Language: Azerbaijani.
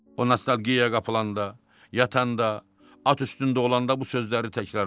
O nostalgiyaya qapılanda, yatanda, at üstündə olanda bu sözləri təkrarlayırdı.